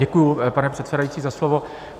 Děkuji, pane předsedající, za slovo.